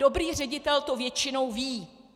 Dobrý ředitel to většinou ví.